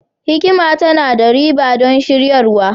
hikima tana da riba don shiryarwa